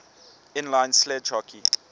inline sledge hockey